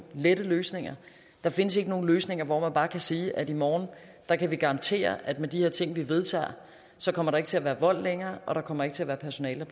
lette løsninger der findes ikke nogen løsninger hvor man bare kan sige at i morgen kan vi garantere at med de her ting vi vedtager kommer der ikke til at være vold længere og der kommer ikke til at være personale